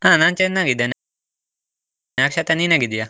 ಅಹ್ ನಾನ್ ಚೆನ್ನಾಗಿದ್ದೇನೆ, ಅಕ್ಷತಾ ನೀನ್ ಹೇಗಿದ್ದೀಯಾ?